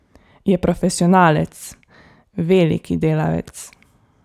Je profesionalec, veliki delavec.